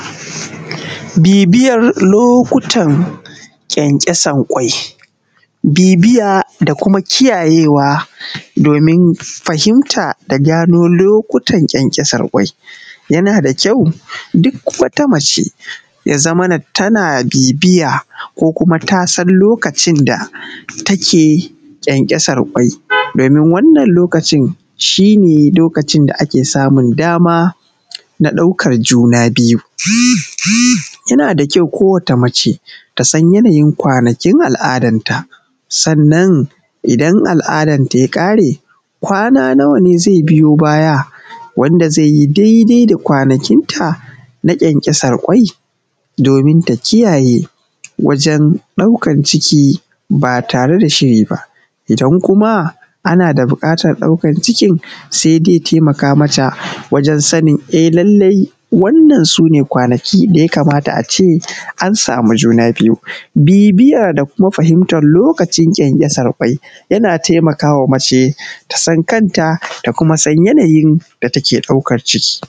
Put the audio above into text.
Biː biːyan lokuːtan ƙyanƙyaːsan ƙwaːiː biː biːyaː daː kumaː kiːyayeːwaː domin fahimtaː daː ganoː lokuːtan ƙyanƙyaːsan ƙwaːiː, yanaː daː kyaːuː duːk waːtaː maːceː yaː zaːmanaː tanaː biːbiːyaː koː kumaː tasaːn lokuːtan daː taːkeː ƙyanƙyaːsan ƙwaːiː. domin wannan lokuːtiː, shiː neː lokuːtan daː aːkeː saːmun daːmaː naː ɗaːuːkan junaː biːyuː. Yanaː daː kyaːuː koːwane waːtaː maːceː tasaːn yanaːyin kwaːnaːkiːn aːlaːdaːntaː. Saːn’nan, idan aːl’aːdaːntaː yaː ƙaːreː, kwanaː naːwaː neː zaːiː biːyoː baːyaː, waːndaː zaːiː yiː daːi’daːiː daː kwanaːkiːn ta naː ƙyanƙyaːsan ƙwaːiː. Domin taː kiːyayeː waːjen ɗaːuːkan ciːk’iː baː taːreː daː shiːriː baː, idan kumaː aːnaː daː buːƙaːtan ɗaːuːkan ciːkiː, saːiː zaːiː taːi’maːkaː maːtaː waːjen saːnin laːllaːiː wannan suː neː kwanaːkiː daː yaː kaːmaːtaː aː ceː aːn saːmu junaː biːyuː. Biː biːyaː daː kumaː fahimtan lokuːtan ƙyanƙyaːsan ƙwaːiː yanaː taːi’maːkaː maːceː taː saːn kaːntaː, taː kumaː saːn yanaːyin daː taːkeː ɗaːuːkan ciːkiː.